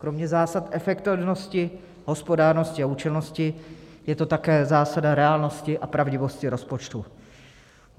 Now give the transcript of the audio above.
Kromě zásad efektivnosti, hospodárnosti a účelnosti je to také zásada reálnosti a pravdivosti rozpočtu.